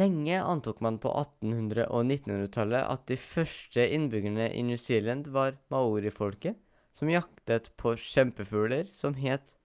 lenge antok man på 1800- og 1900-tallet at de første innbyggerne i new zealand var maori-folket som jaktet på kjempefugler som het